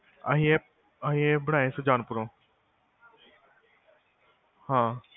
ਅਸੀਂ ਇਹ ਬਣਾਏ ਸੁਜਾਨਪੁਰੋਂ ਹਾਂ